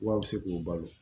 Wa a bɛ se k'o balo